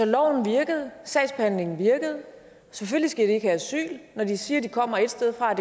loven virkede sagsbehandlingen virkede selvfølgelig skal de ikke have asyl når de siger at de kommer ét sted fra